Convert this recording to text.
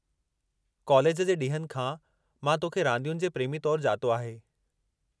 College जे ॾींहनि खां, मां तो खे रांदियुनि जे प्रेमी तौरु ॼातो आहे।